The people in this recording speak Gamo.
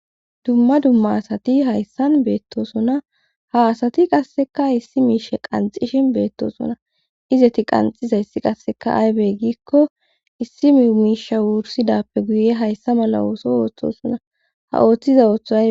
Dumma dumma asati hayssan beettosona ha asati qasseka issi miishe qanxishin beettosona izeti qanxizayssi qasseka aybey giikko issi mi miisha wursidappe guye hayssa mala ooso ooththosona ha ooththiza ooththoz.